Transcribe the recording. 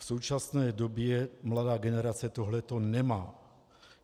V současné době mladá generace tohle to nemá.